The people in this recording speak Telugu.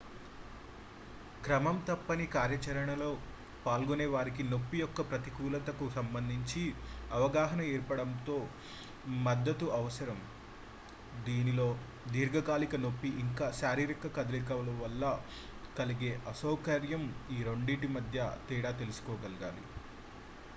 క్రమం తప్పని కార్యాచరణలో పాల్గొనే వారికి నొప్పి యొక్క ప్రతికూలతకు సంబంధించి అవగాహన ఏర్పడడంలో మద్దతు అవసరం దీనిలో దీర్ఘకాలిక నొప్పి ఇంకా శారీరక కదలికల వల్ల కలిగే అసౌకర్యం ఈ రెండింటి మధ్య తేడా తెలుసుకోగలగాలి